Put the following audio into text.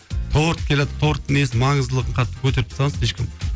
торт келатыр торттың несін маңыздылығын қатты көтеріп тастаған слишком